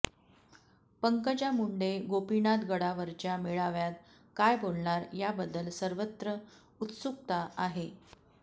पंकजा मुंडे गोपीनाथ गडावरच्या मेळाव्यात काय बोलणार याबद्दल सर्वत्र उत्सुकता आहे